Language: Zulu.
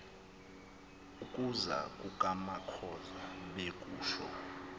ukuza kukamakhoza bekusho